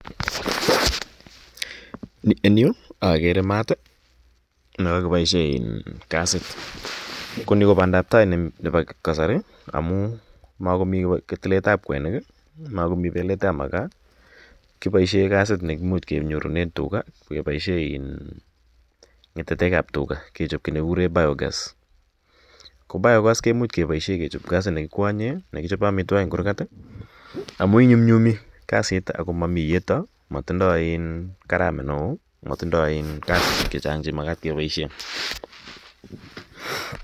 En yu akere mat ne kakipaishe kasit. Ko ni ko pandaptai nepo kasari amu makomi tiletap kwenik i, a makomi pelet ap makaa. Kipaishe kasit ne imuchi kenyoru ng'atatek ap tuga kechop ki ne kikure biogas. Ko biogas komuch kepaishe kechop kasit ne kikwanye, nekichope amitwogik eng' kurgat amu inyunyumi kasit ako mai iyeto, matindai karamet ne oo, matindai kasishek che chang' che makat ke paishe.